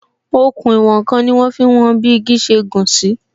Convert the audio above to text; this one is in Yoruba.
Òkun ìwòn n kan ni wọn fi ń wọn bi igi ṣe gùn sí